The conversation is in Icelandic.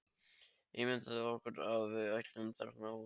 Ímyndað okkur að við ættum þarna hús.